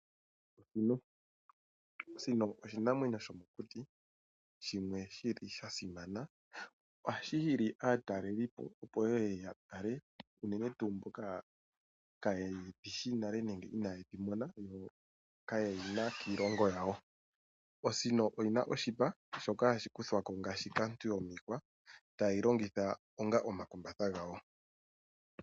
Osino, osino oshinamwenyo shomo kuti shimwe shili sha simana ohashi hili aatalelipo opo ye ye yatale unene tuu mboka kayedhi shi nale nenge inayedhi mona kayedhina kiilongo yawo. Osino oyina oshipa shoka hashi kuthwa ko ngaashi kaantu yo miihwa tayei longitha onga omakumbatha gawo.